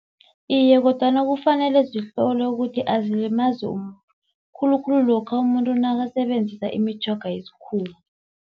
Iye, kodwana kufanele zihlolwe ukuthi azilimazi umuntu. Khulukhulu lokha umuntu nakasebenzisa imitjhoga yesikhuwa.